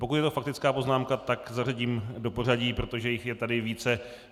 Pokud je to faktická poznámka, tak zařadím do pořadí, protože jich je tady více.